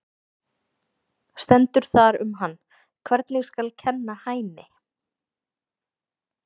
Stendur þar um hann: Hvernig skal kenna Hæni?